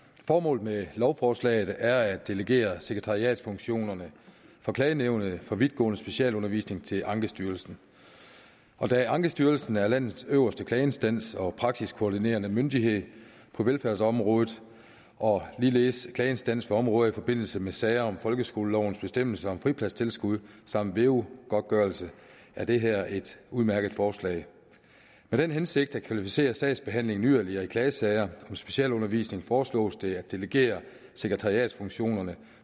formålet med lovforslaget er at delegere sekretariatsfunktionerne for klagenævnet for vidtgående specialundervisning til ankestyrelsen og da ankestyrelsen er landets øverste klageinstans og praksiskoordinerende myndighed på velfærdsområdet og ligeledes klageinstans for områder i forbindelse med sager om folkeskolelovens bestemmelser om fripladstilskud samt veu godtgørelse er det her et udmærket forslag med den hensigt at kvalificere sagsbehandlingen yderligere i klagesager om specialundervisning foreslås det at delegere sekretariatsfunktionerne